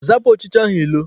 Zapụ ọchịcha ahụ ilo!